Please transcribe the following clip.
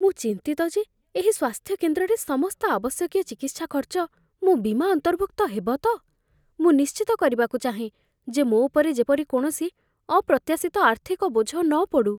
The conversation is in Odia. ମୁଁ ଚିନ୍ତିତ ଯେ ଏହି ସ୍ୱାସ୍ଥ୍ୟକେନ୍ଦ୍ରରେ ସମସ୍ତ ଆବଶ୍ୟକୀୟ ଚିକିତ୍ସା ଖର୍ଚ୍ଚ ମୋ' ବୀମା ଅନ୍ତର୍ଭୁକ୍ତ ହେବ ତ? ମୁଁ ନିଶ୍ଚିତ କରିବାକୁ ଚାହେଁ ଯେ ମୋ ଉପରେ ଯେପରି କୌଣସି ଅପ୍ରତ୍ୟାଶିତ ଆର୍ଥିକ ବୋଝ ନପଡ଼ୁ।